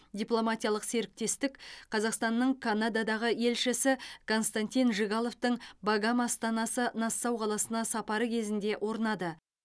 дипломатиялық серіктестік қазақстанның канададағы елшісі константин жигаловтың багам астанасы нассау қаласына сапары кезінде орнады